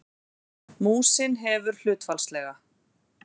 Músin hefur hlutfallslega